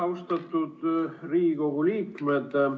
Austatud Riigikogu liikmed!